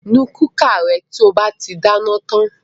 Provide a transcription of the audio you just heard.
Nu kúkà rẹ to bá ti dáná tan!